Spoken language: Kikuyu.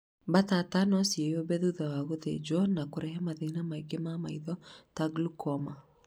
Mbatata nociĩyũmbe thutha wa gũthĩnjwo na kũrehe mathĩna mangĩ ma maitho ta Glaucoma